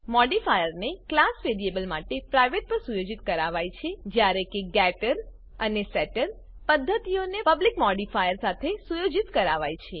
મોડીફાયરને class variable માટે private પર સુયોજિત કરાવાય છે જ્યારે કે ગેટર અને સેટર પદ્ધતિઓને પબ્લિક મોડીફાયર સાથે સુયોજિત કરાવાય છે